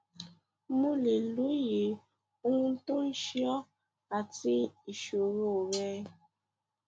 mo lè lóye ohun tó ń ṣe ọ àti ìṣoro rẹ